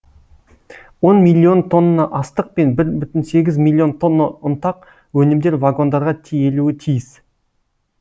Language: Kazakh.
он миллион тонна астық пен бір бүтін оннан сегіз миллион тонна ұнтақ өнімдер вагондарға тиелуі тиіс